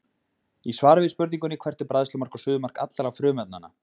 Í svari við spurningunni Hvert er bræðslumark og suðumark allra frumefnanna?